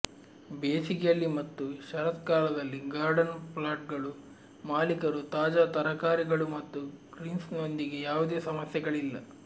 ಬೇಸಿಗೆಯಲ್ಲಿ ಮತ್ತು ಶರತ್ಕಾಲದಲ್ಲಿ ಗಾರ್ಡನ್ ಪ್ಲಾಟ್ಗಳು ಮಾಲೀಕರು ತಾಜಾ ತರಕಾರಿಗಳು ಮತ್ತು ಗ್ರೀನ್ಸ್ನೊಂದಿಗೆ ಯಾವುದೇ ಸಮಸ್ಯೆಗಳಿಲ್ಲ